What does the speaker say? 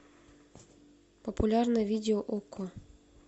популярное видео окко